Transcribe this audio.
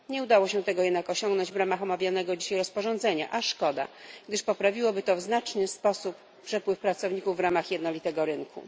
Nie udało się tego jednak osiągnąć w ramach omawianego dzisiaj rozporządzenia a szkoda, gdyż poprawiłoby to w znaczny sposób przepływ pracowników w ramach jednolitego rynku.